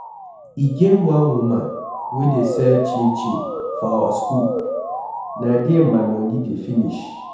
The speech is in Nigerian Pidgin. E get one woman wey dey sell chin chin for our school, Na there my money dey finish.